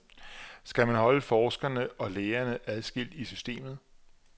Skal man holde forskerne og lægerne adskilt i systemet?